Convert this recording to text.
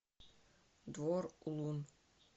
двор улун